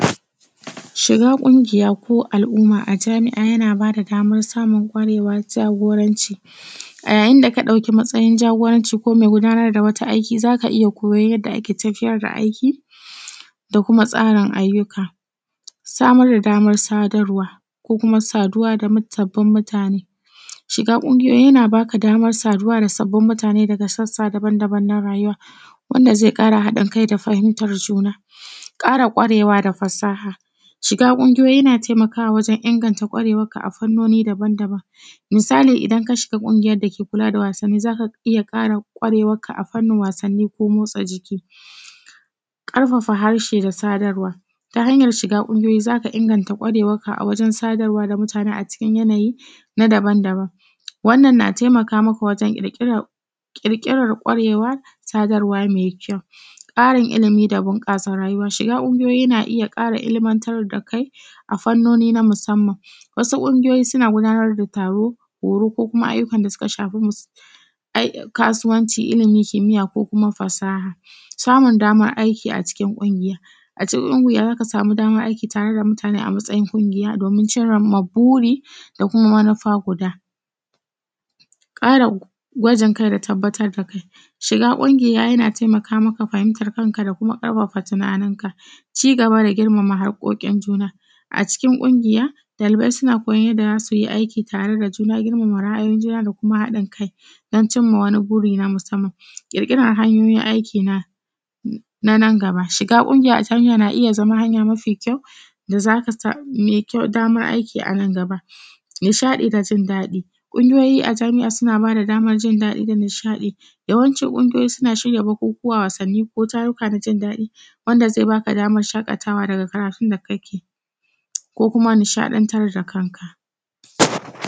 Shiga ƙungiya ko al’umma a jami’a yana bada damar samun ƙwarewar jagoranci. A yayin da ka ɗauki matsayin jagoranci ko mai gudanar da wata aiki zaka iya koyo yadda ake tafiyar da aiki, da kuma tsarun ayyuka. Samar da damar sadarwa ko kuma saduwa ga sabbin mutane: shiga Samar da damar saduwa da sabbin mutane: shiga ƙungiyoyi yana baka damar haɗuwa da sabbin mutane daga sassa dabam-dabam na rayuwa, wanda zai kara haɗin kai da fahimtar juna. ƙara ƙwarewa da fasaha: shiga ƙungiyoyi yana taimakawa wajen inganta ƙwarewarka a fani dabam-dabam. Misali, idan ka shiga ƙungiyar da ke kula da wasannin zaka iya ƙwarewarka a fanin wasanin ko motsa jiki. ƙarfafa harshe da sadarwa: ta hanyar shiga ƙungiyoyi zaka inganta ƙwarewarka wajen sadarwa da mutane a cikin yanayi dabam-dabam, wannan na taimaka maka wajen ƙirƙirar ƙwarewar sadarwa me kyau. ƙarin ilimi da bunƙasa rayuwa: shiga ƙungiyoyi na iya ƙara ilmanta da kai a fannoni na musamman, wasu ƙungiyoyi suna gudanar da taruka horo ko kuma ayyukan da suka shafi musamman al’umman kasuwanci, ilimin kimiya ko kuma fasaha. Samun damar aikin ƙungiya: a cikin ƙungiya zaka samu damar aiki tare da mutane, a matsayin ƙungiya don cimma burin da kuma manufa guda. ƙara ƙwajin kai da tabbatar da kai: shiga ƙungiya yana taimaka maka fahimtar kanka da kuma ƙarfafa tunaninka. Ci gaba da girmama haƙoƙin juna:a cikin ƙungiyoyi ɗalibai suna koyon yadda za su yi aiki tare da juna, girmama ra’ayoyin juna, da kuma haɗin kai, don cimma wani buri na musamman. ƙirƙiran hanyoyin aiki na nan gaba: shiga ƙungiya a jami’a na zama hanya mafi kyau da zaka sami da zaka samu daman aiki anan gaba. Nishaɗi da jindaɗi: ƙungiyoyi a jami’a suna bada damar jin daɗi da nishaɗi, yawanci ƙungiyoyi suna shirya bukukuwa, wasannin, ko taruruka na jin daɗi, wanda zai baka damar shaƙatawa daga karatun da kake, ko kuma nishaɗantar da kanka. s